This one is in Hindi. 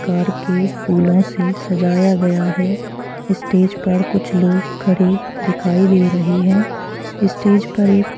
प्रकार के फूलों से सजाया गया है स्टेज पर कुछ लोग खड़े दिखाई दे रहे हैं स्टेज पर--